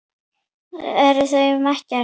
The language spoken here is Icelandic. Þau eru um Ekkert.